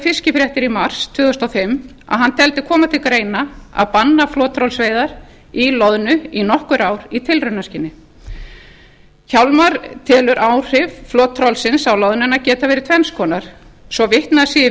fiskifréttir í mars tvö þúsund og fimm að hann teldi koma til greina að banna flottrollsveiðar í loðnu í nokkur ár í tilraunaskyni hjálmar telur áhrif flottrollsins á loðnuna geta verið tvenns konar svo vitnað sé í